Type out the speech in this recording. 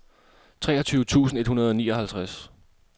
treogtyve tusind et hundrede og nioghalvtreds